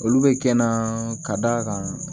Olu bɛ kɛ n na ka d'a kan